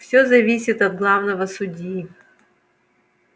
все зависит от главного судьи